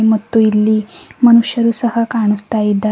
ಮತ್ತು ಇಲ್ಲಿ ಮನುಷ್ಯರು ಸಹ ಕಾಣಿಸ್ತ ಇದ್ದಾ--